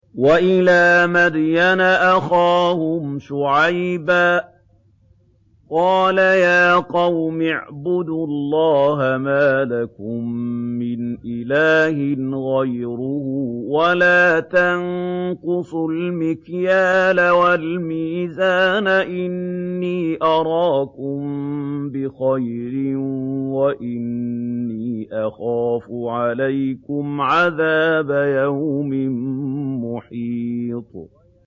۞ وَإِلَىٰ مَدْيَنَ أَخَاهُمْ شُعَيْبًا ۚ قَالَ يَا قَوْمِ اعْبُدُوا اللَّهَ مَا لَكُم مِّنْ إِلَٰهٍ غَيْرُهُ ۖ وَلَا تَنقُصُوا الْمِكْيَالَ وَالْمِيزَانَ ۚ إِنِّي أَرَاكُم بِخَيْرٍ وَإِنِّي أَخَافُ عَلَيْكُمْ عَذَابَ يَوْمٍ مُّحِيطٍ